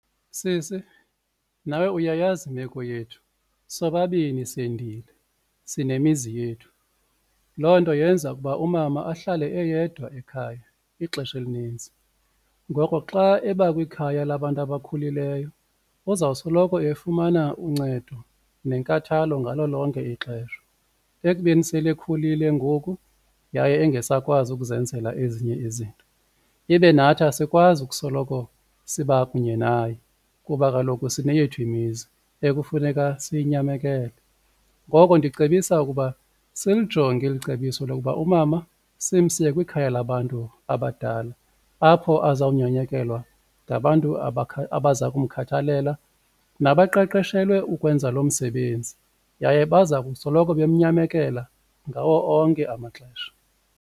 Sisi, nawe uyayazi imeko yethu sobabini sendile sinemizi yethu, loo nto yenza ukuba umama ahlale eyedwa ekhaya ixesha elinintsi. Ngoko xa eba kwikhaya labantu abakhulileyo uzosoloko efumana uncedo nenkathalo ngalo lonke ixesha ekubeni sele ekhulile ngoku yaye engasakwazi ukuzenzela ezinye izinto ibe nathi asikwazi ukusoloko siba kunye naye kuba kaloku sineyethu imizi ekufuneka siyinyamekele. Ngoko ndicebisa ukuba silijonge eli cebiso lokuba umama simse kwikhaya labantu abadala apho azawunyanyekelwa ngabantu abaza kumkhathalela nabaqeqeshelwe ukwenza lo msebenzi yaye baza kusoloko bemnyamekela ngawo onke amaxesha.